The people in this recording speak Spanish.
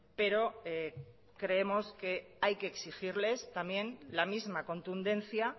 pero creemos que hay que exigirles también la misma contundencia